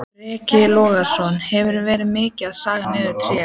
Breki Logason: Hefurðu verið mikið að saga niður tré?